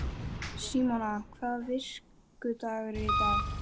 Símona, hvaða vikudagur er í dag?